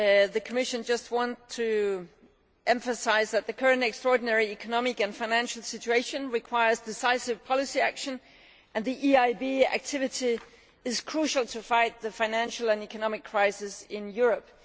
The Commission just wants to emphasise that the current extraordinary economic and financial situation requires decisive policy action and that the EIB's activity is crucial to fight the financial and economic crisis in Europe.